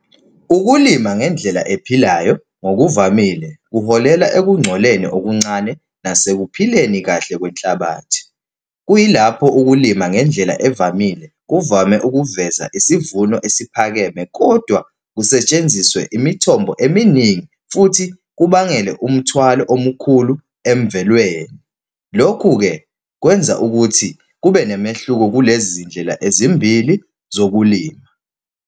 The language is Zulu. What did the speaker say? Ukulima ngendlela ephilayo, ngokuvamile, kuholela ekungcoleni okuncane nasekuphileni kahle kwenhlabathi. Kuyilapho ukulima ngendlela evamile kuvame ukuveza isivuno esiphakeme, kodwa kusetshenziswe imithombo eminingi futhi kubangele umthwalo omkhulu emvelweni. Lokhu-ke, kwenza ukuthi kube nomehluko kunezindlela ezimbili zokulima.